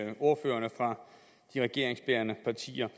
end ordførerne fra de regeringsbærende partier